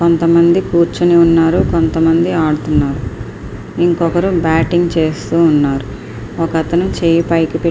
కొంతమంది కూర్చుని ఉన్నారు కొంతమంది ఆడుతూ ఉన్నారు ఇంకొకరు బ్యాటింగ్ చేస్తున్నారు ఒక అతను చెయ్యి పైకి.